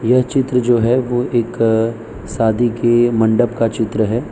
यह चित्र जो है वो एक शादी के मंडप का चित्र है।